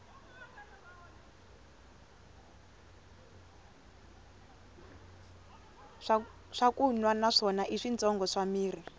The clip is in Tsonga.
swakunwa na swona i switshongo swa mirhi